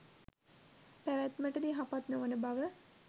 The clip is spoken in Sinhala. පැවැත්මට ද යහපත් නොවන බව